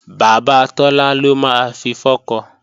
Bàbá Tọ́lá ló máa fi fọ́kọ